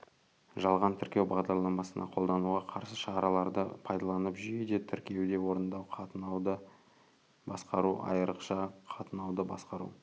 жалған тіркеу бағдарламасына қолдануға қарсы шараларды пайдаланып жүйеде тіркеуді орындау қатынауды басқару айрықша қатынауды басқару